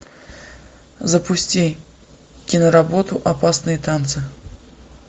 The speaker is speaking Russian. запусти киноработу опасные танцы